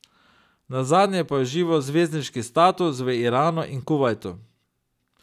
Nazadnje pa je užival zvezdniški status v Iranu in Kuvajtu.